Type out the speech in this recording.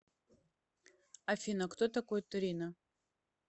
афина кто такой торино